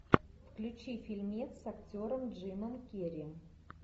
включи фильмец с актером джимом керри